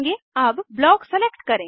अब block select करें